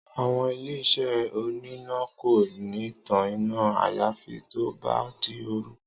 Àwo̩n ilé-is̩é oníná kò ní tan iná àyàfi tó bá di òru